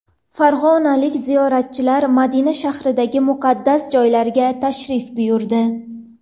Farg‘onalik ziyoratchilar Madina shahridagi muqaddas joylarga tashrif buyurdi .